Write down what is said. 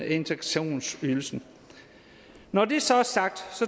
integrationsydelsen når det så er sagt